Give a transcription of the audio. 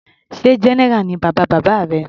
Sé general ni bàbá bàbá rẹ.